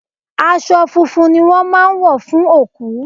Aṣọ funfun ni wón máa ń wọ fún òkú.